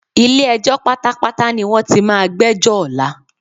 Ilé-ẹjọ́ pátápátá ní wọ́n ti máa gbẹ́jọ́ ọ̀la.